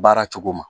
Baara cogo ma